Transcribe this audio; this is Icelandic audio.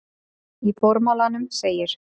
Í formálanum segir